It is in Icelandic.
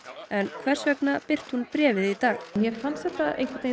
en hvers vegna birti hún bréfið í dag mér fannst þetta